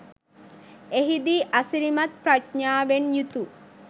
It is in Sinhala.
එහිදී අසිරිමත් ප්‍රඥාවෙන් යුතු